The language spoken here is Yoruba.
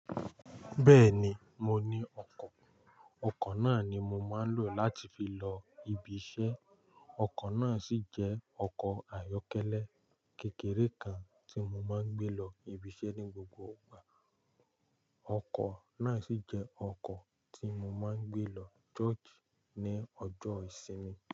Bẹ́ẹ̀ni, mo ní ọkọ̀. Ọkọ̀ náà ni mo máa ń lò láti fi lọ ibiṣẹ́. Ọkọ̀ náà sì jẹ́ ọkọ̀ ayọ́kẹ́lẹ́ kékeré kan tí mo máa ń gbé lọ ibiṣẹ́ ní gbogbo ìgbà. Ọkọ̀ náà sì jẹ́ ọkọ̀ tí mo máa ń gbé lọ ṣosi ní ọjọ́ ìsinmi.